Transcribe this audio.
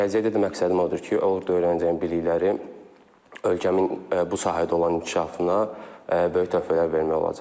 Gələcəkdə də məqsədim odur ki, orda öyrənəcəyim bilikləri ölkəmin bu sahədə olan inkişafına böyük töhfələr vermək olacaqdır.